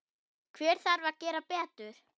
Hver þarf að gera betur?